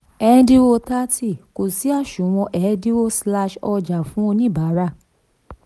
ẹ̀ńdínwó thirty kò sí àsùnwon ẹ̀dínwó slash ọjà fún oníbàárà.